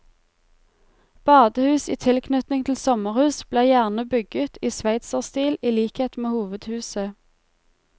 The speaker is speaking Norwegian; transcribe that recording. Badehus i tilknytning til sommerhus ble gjerne bygget i sveitserstil i likhet med hovedhuset.